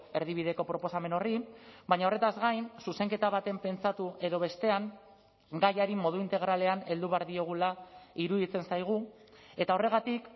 erdibideko proposamen horri baina horretaz gain zuzenketa baten pentsatu edo bestean gaiari modu integralean heldu behar diogula iruditzen zaigu eta horregatik